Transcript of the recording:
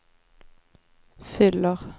fyller